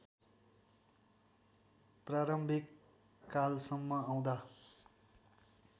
प्रारम्भिक कालसम्म आउँदा